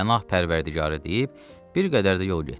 Pənah pərvərdigarı deyib bir qədər də yol getdik.